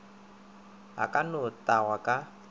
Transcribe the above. a ka no tagwa ka